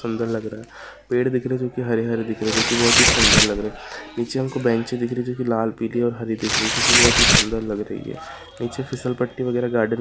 पेड़ दिख रहे जो की हरे हरे दिख रहे हैं जो की बहुत ही सुंदर लग रहे पीछे हमको बेंचें दिख रही जो की लाल पीली और हरी दिख रही जो की बहुत ही सुंदर लग रही है नीचे फिसल पट्टी वगैरह गार्डन वगैरह भी बना हुआ --